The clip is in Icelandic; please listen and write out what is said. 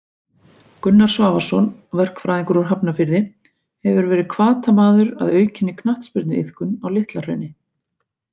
Gunnar Svavarsson, verkfræðingur úr Hafnarfirði hefur verið hvatamaður að aukinni knattspyrnuiðkun á Litla Hrauni.